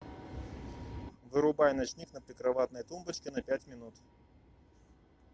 вырубай ночник на прикроватной тумбочке на пять минут